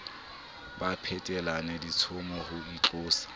ba phetelana ditshomo ho itlosa